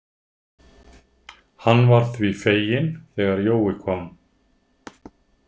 Hann varð því feginn þegar Jói kom.